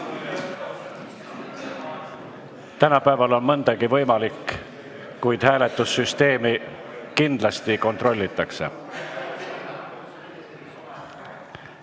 Tänapäeval on nii mõndagi võimalik, kuid hääletussüsteemi kindlasti kontrollitakse.